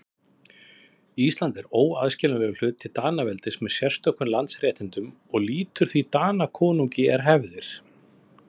Ísland er óaðskiljanlegur hluti Danaveldis með sérstökum landsréttindum og lýtur því Danakonungi er hefir.